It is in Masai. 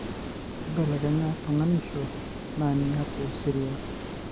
keibelekenya tunganisho na niaku serious.